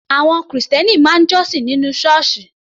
Àwọn Kìrìsìtẹ́ẹ́nì máa ń jọ́sìn nínú Ṣọ́ọ́ṣì